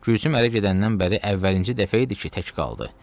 Gülsüm ərə gedəndən bəri əvvəlincə idi ki, tək qaldı.